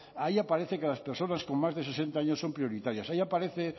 ahí aparece que las personas con más de sesenta años son prioritarias ahí aparece